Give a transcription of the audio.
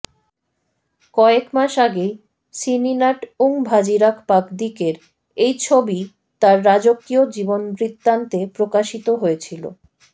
কয়েক মাস আগেই সিনিনাত ওংভাজিরাপাকদিকের এই ছবি তার রাজকীয় জীবনবৃত্তান্তে প্রকাশিত হয়েছিল